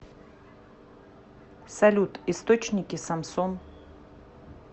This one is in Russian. салют источники самсон